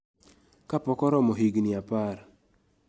ka pok oromo higni apar